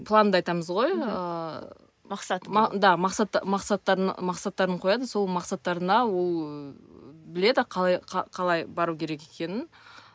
планды айтамыз ғой ыыы мақсат да мақсат мақсаттарын мақсаттарын қояды сол мақсаттарына ол біледі қалай бару керек екенін